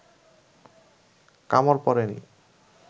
কামড় পড়ে নি